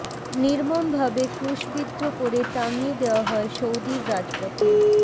নির্মম ভাবে ক্রুশবিদ্ধ করে টাঙিয়ে দেওয়া হয় সৌদির রাজপথে